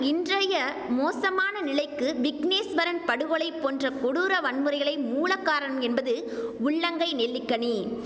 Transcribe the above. இன்றைய மோசமான நிலைக்கு விக்னேஸ்வரன் படுகொலை போன்ற கொடூர வன்முறைகளே மூலகாரணம் என்பது உள்ளங்கை நெல்லிக்கனி